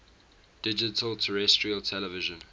digital terrestrial television